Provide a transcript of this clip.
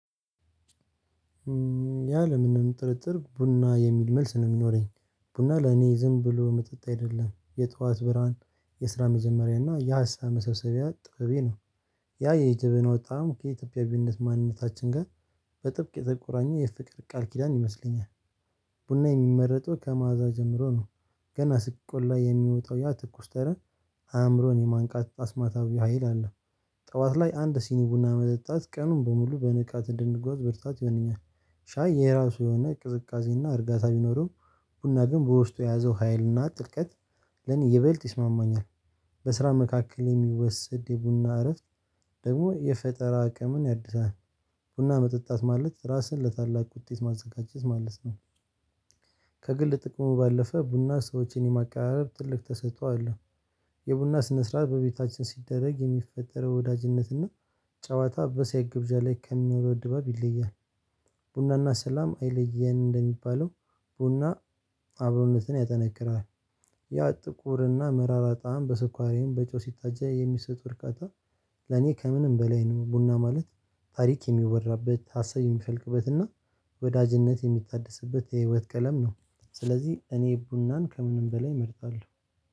ያ ለምንም ጥርጥር ቡና የሚል መልስ ነው የሚኖረኝ። ቡና ለኔ ዝም ብሎ የምጠጣ አይደለም የጧት ብርሃን የስራ መጀመሪያ እና የሀሳብ መሰብሰቢያ ጥበቤ ነው። ያ የጅበናው በጣም ከኢትዮጵያዊነት ማንነታችን ጋር በጥብቅ የተቆራኘ የፍቅር ቃል ኪዳን ይመስለኛል። ቡና የሚመረጠው ከመዓዛ ጀምሮ ነው። ገና ስቆላ የሚወጣው ያ ትኩስ ጠረን አእምሮን የማንቃት አስማታዊ ሀይል አለ። ጠዋት ላይ አንድ ሲኒ ቡና መለጣት ቀኑን በሙሉ በንቃት እንደንጓዝ ብርታት ይሆናል። ሻይ የራሱ የሆነ ቅዝቃዜና እርጋታ ቢኖረውም። ቡና ግን በወስጡ የያዘው ሀይልና ጥልቀት ለኔ ይበልጥ ይስማማኛል። በስራ መካከል የሚወሰድ የቡና እረፍት። ደግሞ የፈጠራ አቅምን ያድሳል። ቡና መጠጣት ማለት ራስን ለታላቅ ውጤት ማዘጋጀት ማለት ነው። ከግል ጥቅሙ ባለፈ ቡና ሰዎችን የማቀራረብ ትልቅ ተሰጥኦ አለው። የቡና ስነ ስርዓት በቤታችን ሲደረግ የሚፈጠረው ወዳጅነትና ጨዋታ በሻይ ግብዣ ላይ ከሚኖረው ድባብ ይለያል። ቡናና ሰላም አይለየን እንደሚባለው ቡና አብሮነትን ያጠነክርሃል። ያ ጥቁርና መራራ ጣዕም በስኳርም በጨው ሲታጃ የሚሰጥ ወርቃታ። ለኔ ከምንም በላይ ነው ቡና ማለት ታሪክ የሚወራበት ሀሳብ የሚፈልቅበት እና ወዳጅነት የሚታደስበት የህይወት ቀለም ነው። ስለዚህ እኔ ቡናን ከምንም በላይ እመርጣለሁ